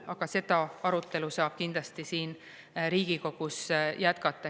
Aga seda arutelu saab kindlasti siin Riigikogus jätkata.